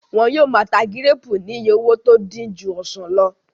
Wọ́n yóò máa ta gíréèpù ní iye owó tó dín ju ọsàn lọ